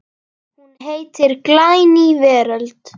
Hún heitir Glæný veröld.